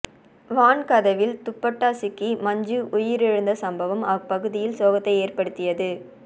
வான் கதவில் துப்பட்டா சிக்கி மஞ்சு உயிரிழந்த சம்பவம் அப்பகுதியில் சோகத்தை ஏற்படுத்தியது